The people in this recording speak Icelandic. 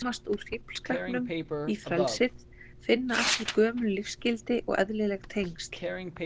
Komast úr fíflskapnum í frelsið, finna aftur gömul lífsgildi og eðlileg tengsl.